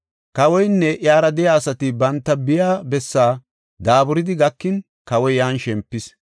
Kawoynne iyara de7iya asati banta biya bessa daaburidi gakin kawoy yan shempis.